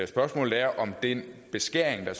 spørgsmålet er om den beskæring af